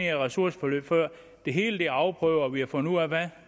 ressourceforløb før det hele er afprøvet og vi har fundet ud af hvad